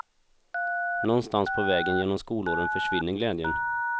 Någonstans på vägen genom skolåren försvinner glädjen.